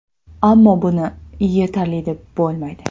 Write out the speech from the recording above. Ammo buni yetarli deb bo‘lmaydi.